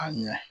A ɲɛ